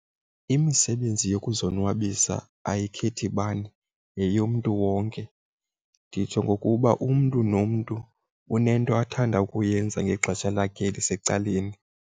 Imisebenzi yokuzonwabisa ayikhethi bani yeyomntu wonke. Nditsho ngokuba umntu nomntu unento athanda ukuyenza ngexesha lakhe elisecaleni.